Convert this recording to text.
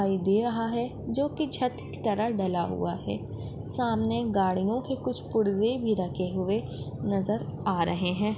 दिखाई दे रहा है जोकि छत की तरह डला हुआ है सामने गाड़ियो के कुछ पुर्ज़े भी रखे हुए नज़र आ रहे है।